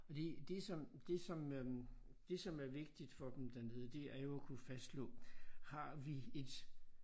Og det det som det som øh det som er vigtigt for dem dernede det er jo at kunne fastslå har vi et